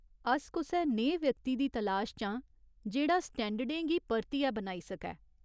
अस कुसै नेहे व्यक्ति दी तलाश च आं जेह्ड़ा स्टैंडर्डें गी परतियै बनाई सकै।